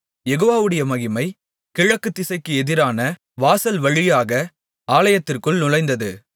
யெகோவாவுடைய மகிமை கிழக்கு திசைக்கு எதிரான வாசல்வழியாக ஆலயத்திற்குள் நுழைந்தது